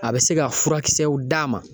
A bi se ka furakisɛw d'a ma